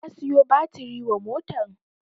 Na siyo batiri wa motan